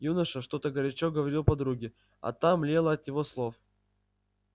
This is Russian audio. юноша что-то горячо говорил подруге а та млела от его слов